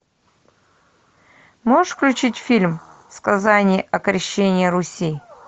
можешь включить фильм сказание о крещении руси